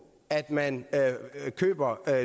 at man køber